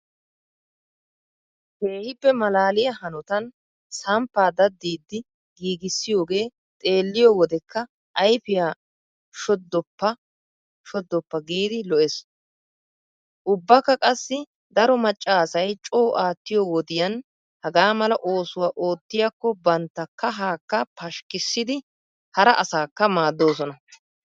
Keehippe malaaliya hanotan samppaa daddidi giigissiyodoogee xelliyo wodekka ayfiya shoddoppa shoddoppa giidi lo''ees. Ubbakka qassi daro macca asay coo aattiyo wodiyan hagaa mala oosuwa oottiyakko bantta kahaakka pashshikkissidi hara asaakka maaddoosona.